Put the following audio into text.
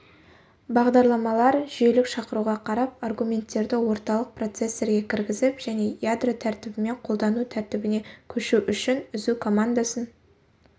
бағдарламалар жүйелік шақыруға қарап аргументтерді орталық процессорге кіргізіп және ядро тәртібінен қолдану тәртібіне көшу үшін үзу командасын